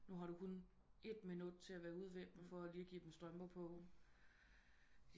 Nu har du kun et minut til at være ude ved dem for lige at give dem strømper på